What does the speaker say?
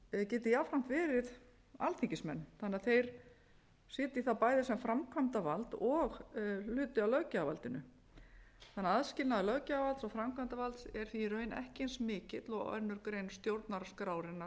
geti jafnframt verið alþingismenn þannig að þeir sitji bæði sem framkvæmdavald og hluti af löggjafarvaldinu þannig að aðskilnaður löggjafarvalds og framkvæmdarvald er því í raun ekki eins mikill og aðra grein stjórnarskrárinnar